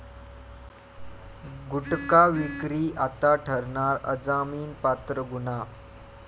गुटखा विक्री आता ठरणार अजामिनपात्र गुन्हा